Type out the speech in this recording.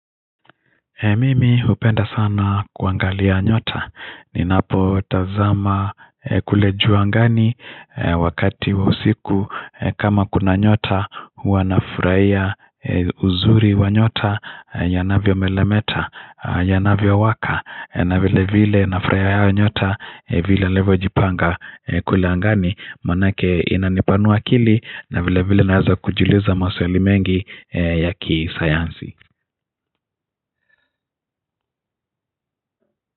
Mimi hupenda sana kuangalia nyota ninapotazama kule juu angani wakati wa usiku kama kuna nyota huwa nafurahia uzuri wa nyota yanavyo meremeta yanavyo waka na vile vile nafurahianga nyota vile alivyo jipanga kule angani maanake inanipanua akili na vile vile naweza kujiuliza maswali mengi ya kisayansi.